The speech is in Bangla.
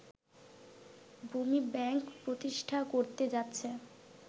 ভূমি ব্যাংক প্রতিষ্ঠা করতে যাচ্ছে